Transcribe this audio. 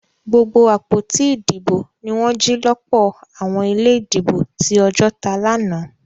Gbogbo àpótí ìdìbò ní wọn jì lọpọ àwọn ilé ìdìbò tí Ojota lànà